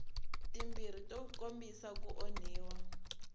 timbirhi to kombisa ku onhiwa